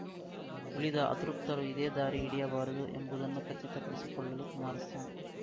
ಉಳಿದ ಅತೃಪ್ತರು ಇದೇ ದಾರಿ ಹಿಡಿಯಬಾರದು ಎಂಬುದನ್ನು ಖಚಿತಪಡಿಸಿಕೊಳ್ಳಲು ಕುಮಾರಸ್ವಾಮಿ